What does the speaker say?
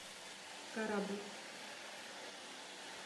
корабль